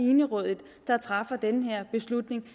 enerådigt der træffer den her beslutning